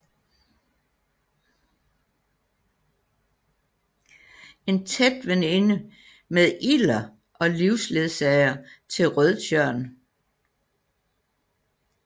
En tæt veninde med Ilder og livsledsager til Rødtjørn